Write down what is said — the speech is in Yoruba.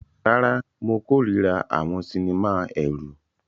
Rárá, mo kórìíra àwọn sinimá ẹ̀rù.